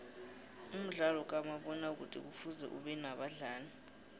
umdlalo kamabona kude kufuze ubenabadlali